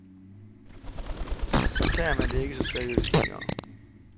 Så tager man det ikke så seriøst længere.